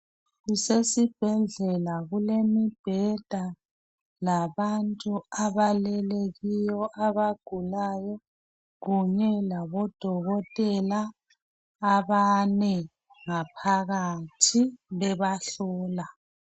Kusesibhedlela kulemibheda labantu abalele kiyo abagulayo kunye labodokotela abane ngaphakathi bebahlola.